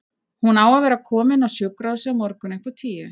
Hún á að vera komin á sjúkrahúsið á morgun upp úr tíu.